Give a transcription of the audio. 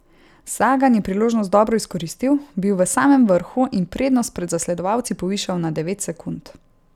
Sagan je priložnost dobro izkoristil, bil v samem vrhu in prednost pred zasledovalci povišal na devet sekund.